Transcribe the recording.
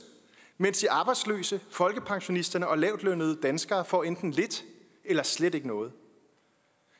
mens de arbejdsløse folkepensionisterne og lavtlønnede danskere får enten lidt eller slet ikke noget